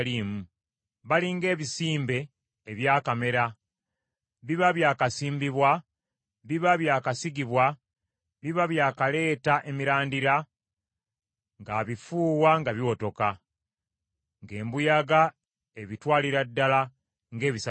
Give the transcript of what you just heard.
Bali ng’ebisimbe ebyakamera biba bya kasimbibwa, biba byakasigibwa, biba byakaleeta emirandira, nga abifuuwa nga biwotoka, ng’embuyaga ebitwalira ddala ng’ebisasiro.